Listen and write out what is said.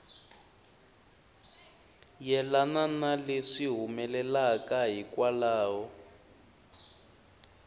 yelana na leswi humelelaka hikwalaho